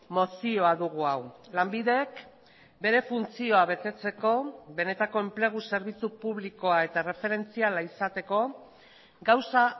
mozioa dugu hau lanbidek bere funtzioa betetzeko benetako enplegu zerbitzu publikoa eta erreferentziala izateko gauza